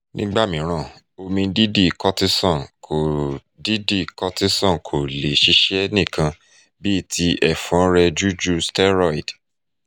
nígbà mìíràn omi didi cortisone kò didi cortisone kò le ṣiṣẹ́ nìkan bíi ti ẹ̀fọ́nrẹ́jújú steroid